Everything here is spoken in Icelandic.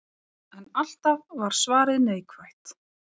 En alltaf var svarið neikvætt.